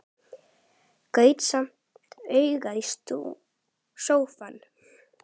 Gaut samt augum á sófann.